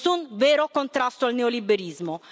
Nessun vero contrasto al neoliberismo.